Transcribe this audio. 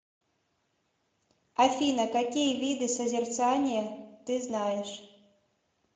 афина какие виды созерцание ты знаешь